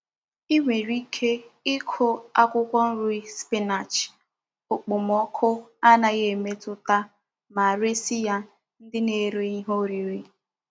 I nwere ike iku akwukwo nri spinach okpomoku anaghi emetuta ma resi ya ndi na-ere ihe oriri.